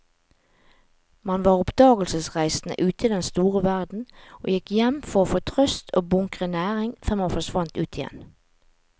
Man var oppdagelsesreisende ute i den store verden og gikk hjem for å få trøst og bunkre næring før man forsvant ut igjen.